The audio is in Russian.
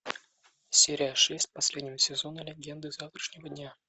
серия шесть последнего сезона легенды завтрашнего дня